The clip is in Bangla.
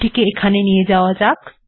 এটিকে এখানে নিয়ে যাওয়া যাক